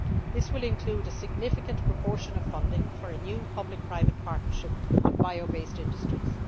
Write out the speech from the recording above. This will include a significant proportion of funding for a new Public Private Partnership on bio based industries.